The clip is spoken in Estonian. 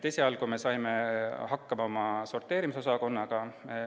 Esialgu saime hakkama oma sorteerimisosakonnaga.